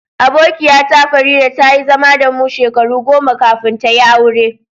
Abokiya ta, Farida, ta yi zama da mu shekaru goma kafin ta yi aure.